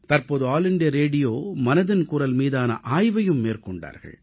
தற்போது அகில இந்திய வானொலி மனதின் குரல் மீதான ஆய்வையும் மேற்கொண்டார்கள்